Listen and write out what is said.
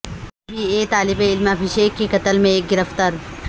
be B A طالب علم ابھیشیک کے قتل میں ایک گرفتار